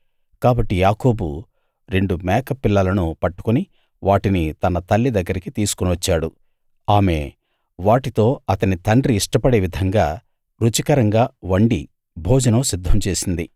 కాబట్టి యాకోబు రెండు మేక పిల్లలను పట్టుకుని వాటిని తన తల్లి దగ్గరికి తీసుకుని వచ్చాడు ఆమె వాటితో అతని తండ్రి ఇష్టపడే విధంగా రుచికరంగా వండి భోజనం సిద్ధం చేసింది